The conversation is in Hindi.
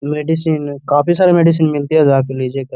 मेडिसिन काफी सारे मेडिसिन मिलते हैं जाके लीजियेगा।